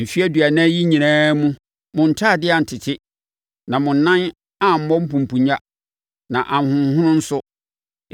Mfeɛ aduanan yi nyinaa mu, mo ntadeɛ antete, na mo nan ammɔ mpumpunnya na anhonhono nso.